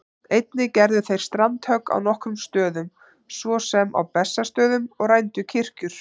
Einnig gerðu þeir strandhögg á nokkrum stöðum, svo sem á Bessastöðum, og rændu kirkjur.